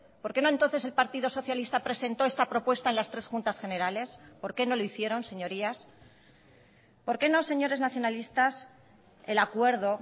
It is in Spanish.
por qué no entonces el partido socialista presentó esta propuesta en las tres juntas generales por qué no lo hicieron señorías por qué no señores nacionalistas el acuerdo